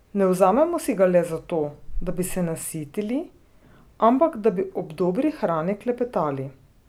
Ne vzamemo si ga le zato, da bi se nasitili, ampak da bi ob dobri hrani klepetali.